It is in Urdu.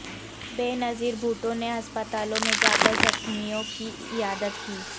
بینظیر بھٹو نے ہسپتالوں میں جاکر زخمیوں کی عیادت کی